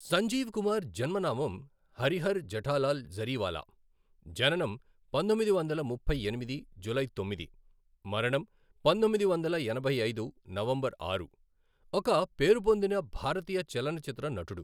సంజీవ్ కుమార్ జన్మ నామం హరిహర్ జెఠాలాల్ జరీవాలా, జననం పంతొమ్మిది వందల ముప్పై ఎనిమిది జూలై తొమ్మిది, మరణం పంతొమ్మిది వందల ఎనభై ఐదు నవంబర్ ఆరు, ఒక పేరుపొందిన భారతీయ చలనచిత్ర నటుడు.